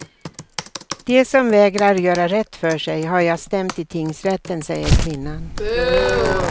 De som vägrar göra rätt för sig har jag stämt i tingsrätten, säger kvinnan.